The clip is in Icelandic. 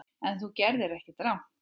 En þú gerðir ekkert rangt.